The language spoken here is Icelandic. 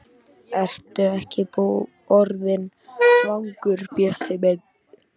Ertu ekki orðinn svangur, Bjössi minn?